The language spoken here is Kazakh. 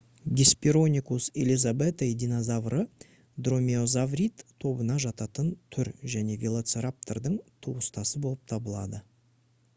hesperonychus elizabethae динозавры дромеозаврид тобына жататын түр және велоцираптордың туыстасы болып табылады